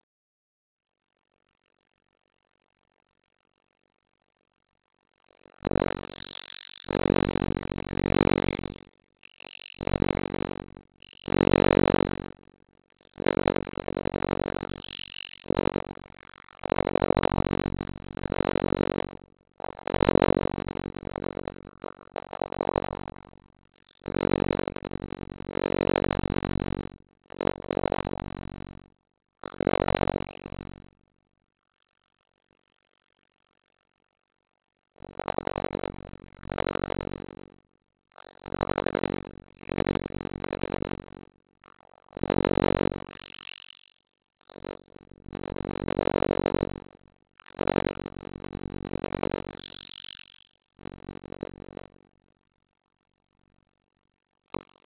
Þessi líking getur, eins og fram hefur komið, átt við mynd okkar af hugtakinu póstmódernismi.